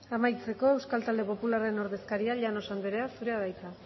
amaitzeko euskal talde popularraren ordezkaria llanos anderea zurea da hitza